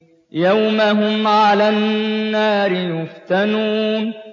يَوْمَ هُمْ عَلَى النَّارِ يُفْتَنُونَ